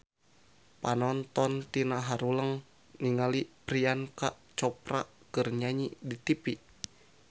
Panonton ting haruleng ningali Priyanka Chopra keur nyanyi di tipi